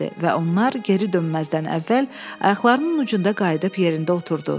Və onlar geri dönməzdən əvvəl ayaqlarının ucunda qayıdıb yerində oturdu.